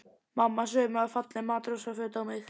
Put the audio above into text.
Mamma saumaði falleg matrósaföt á mig.